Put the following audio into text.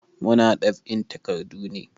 Muna ɗab'in takardu ne.